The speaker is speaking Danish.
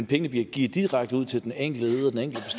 pengene bliver givet direkte ud til den enkelte